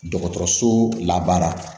Dɔgɔtɔrɔso labaara